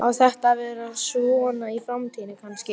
Þetta var yfirgangsstefna og ljótasti bletturinn á nútímamenningu.